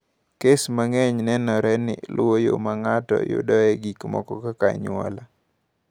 Kes mang’eny nenore ni luwo yo ma ng’ato yudoe gik moko kaka anyuola.